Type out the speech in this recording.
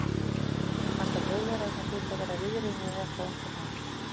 Þeim fannst að Þjóðverjarnir hlytu að vera viðriðnir þetta á einhvern hátt.